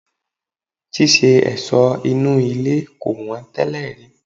Ṣíṣe ẹ̀sọ́ inú ilé kò wọ́n tẹ́lẹ̀ rí.